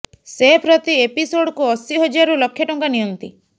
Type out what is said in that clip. ସେ ପ୍ରତି ଏପିସୋଡ୍କୁ ଅଶି ହଜାରରୁ ଲକ୍ଷେ ଟଙ୍କା ନିଅନ୍ତି